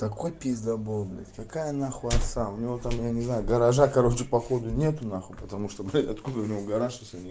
такой пиздабол блядь какая нахуй отца у него там я не знаю гаража короче походу нет нахуй потому что ты откуда у него гараж если не